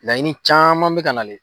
Laɲini caman bɛ ka nalen.